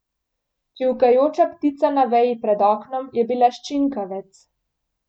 Čivkajoča ptica na veji pred oknom je bila ščinkavec.